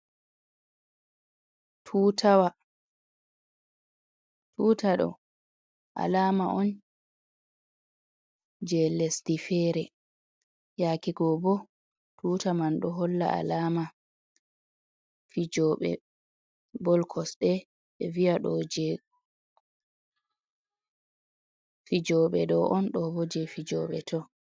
Tutawa, tuta ɗo alama'on je Lesdi fere. Yake go bo tuta man ɗo holla alama Fijoɓe bol Kosɗe. Ɓe viya ɗo je fijoɓe ɗo'on ɗobo je Fijoɓe to.